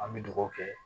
An bɛ dugawu kɛ